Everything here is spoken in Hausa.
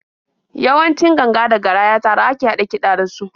Yawanci ganga da garaya tare a ke haɗa kiɗa da su.